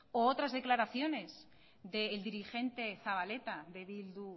o otras declaraciones de el dirigente zabaleta de bildu